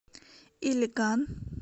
илиган